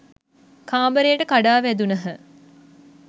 කාමරයට කඩා වැදුණහ